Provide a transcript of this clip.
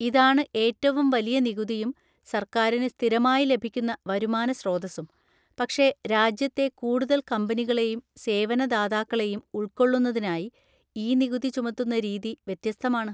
ഇതാണ് ഏറ്റവും വലിയ നികുതിയും സർക്കാരിന് സ്ഥിരമായി ലഭിക്കുന്ന വരുമാന സ്രോതസ്സും; പക്ഷെ രാജ്യത്തെ കൂടുതൽ കമ്പനികളെയും സേവനദാതാക്കളെയും ഉൾക്കൊള്ളുന്നതിനായി ഈ നികുതി ചുമത്തുന്ന രീതി വ്യത്യസ്തമാണ്.